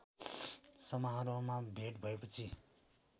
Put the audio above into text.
समारोहमा भेट भएपछि